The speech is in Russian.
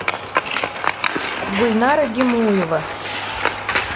гульнара гимуева